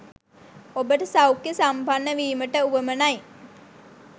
ඔබට සෞඛ්‍ය සම්පන්න වීමට වුවමනයි